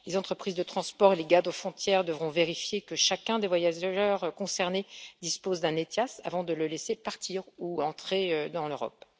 Les entreprises de transport et les garde frontières devront vérifier que chacun des voyageurs concernés dispose d'un ETIAS avant de le laisser partir ou entrer dans l'Europe.